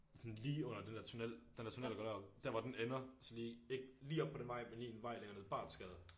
Sådan lige under den der tunnel den der tunnel der går derop der hvor den ender og så lige ikke lige op på den vej men en vej længere ned Barthsgade